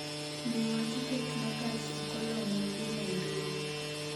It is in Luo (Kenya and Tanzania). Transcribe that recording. nyiewa tiket ma gach okoloma dhi nairobi